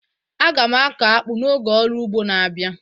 A ga m akọ akpu n'oge ọrụ ugbo na-abịa